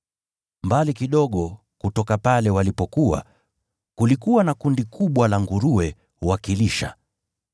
Mbali kidogo kutoka pale walipokuwa, kulikuwa na kundi kubwa la nguruwe wakilisha.